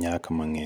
nyak mang'eny